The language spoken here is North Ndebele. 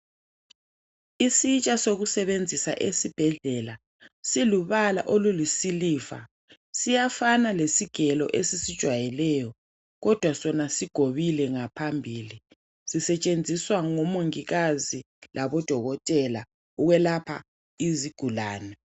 Isitsha sokusebenzisa esibhedlela silubala olulisiliva, siyafana lesigelo esisijwayeleyo kodwa sona sigobile ngaphambili, sisetshenziswa ngomongikazi labodokotela ukwelapha izigulane.